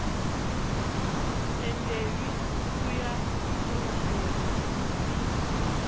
tendelwi u ya mbulungoni n